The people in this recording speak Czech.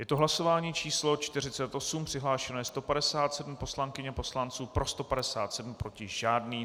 Je to hlasování číslo 48, přihlášeno je 157 poslankyň a poslanců, pro 157, proti žádný.